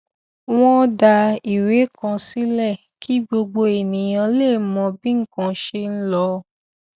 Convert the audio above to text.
wọn dá ìwé kan sílẹ kí gbogbo ènìyàn lè mọ bí nnkan ṣe ń lọ